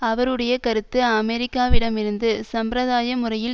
அவருடைய கருத்து அமெரிக்காவிடமிருந்து சம்பிரதாய முறையில்